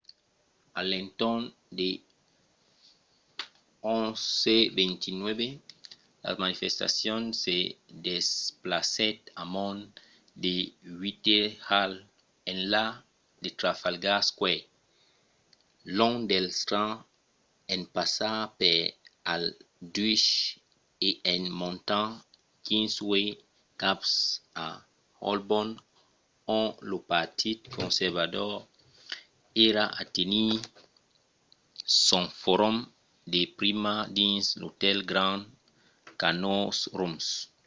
a l’entorn de 11:29 la manifestacion se desplacèt amont de whitehall enlà de trafalgar square long del strand en passar per aldwych e en montant kingsway cap a holborn ont lo partit conservador èra a tenir son forum de prima dins l'otèl grand connaught rooms